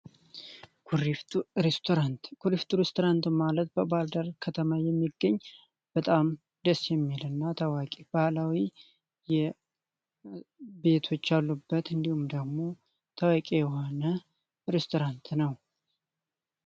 ኩሪፍ ቱ ሬስቶራንት ኩሪፍ ቱ ሬስቶራንት ማለት በባህር ደር ከተማ የሚገኝ በጣም ደስ የሚል እና ታዋቂ ባህላዊ የቤቶች አሉበት እንዲሁም ደግሞ፤ ታዋቂ የሆነ ሬስቶራንት ነው።